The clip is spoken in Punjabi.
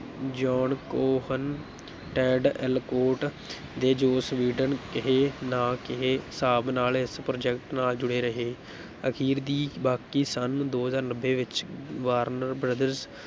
ਜੌਨ ਕੋਹੇਨ, ਟੈਡ ਅਲਕੋਟ ਦੇ ਜੋਸ ਵੀਡਨ ਕਿਹੇ ਨਾ ਕਿਹੇ ਹਿਸਾਬ ਨਾਲ ਇਸ project ਨਾਲ ਜੁੜੇ ਰਹੇ ਅਖ਼ੀਰ ਦੀ ਬਾਕੀ ਸੰਨ ਦੋ ਹਜ਼ਾਰ ਨੱਬੇ ਵਿੱਚ ਵਾਰਨਰ brothers